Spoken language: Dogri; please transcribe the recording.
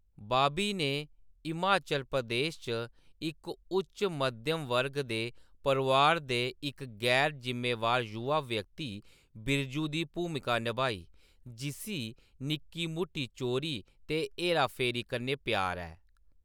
बॉबी ने हिमाचल प्रदेश च इक उच्च मध्यम वर्ग दे परोआर दे इक गैर-जिम्मेवार युवा व्यक्ति बिरजू दी भूमिका नभाई, जिस्सी निक्की-मुट्टी चोरी ते हेरा-फेरी कन्नै प्यार ऐ।